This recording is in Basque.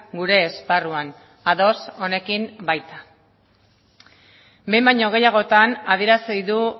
gure esparruan ados honekin baita behin baino gehiagotan adierazi du